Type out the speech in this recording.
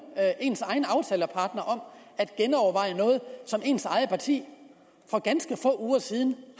ens egen aftalepartner om at genoverveje noget som ens eget parti for ganske få uger siden